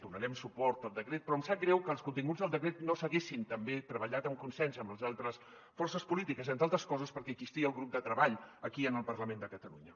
donarem suport al decret però em sap greu que els continguts del decret no s’haguessin també treballat amb consens amb les altres forces polítiques entre altres coses perquè existia el grup de treball aquí en el parlament de catalunya